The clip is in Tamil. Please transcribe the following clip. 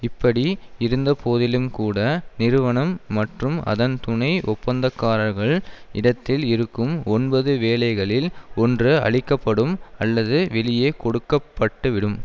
இப்படி இருந்த போதிலும்கூட நிறுவனம் மற்றும் அதன் துணை ஒப்பந்தக்காரர்கள் இடத்தில் இருக்கும் ஒன்பது வேலைகளில் ஒன்று அழிக்க படும் அல்லது வெளியே கொடுக்கப்பட்டுவிடும்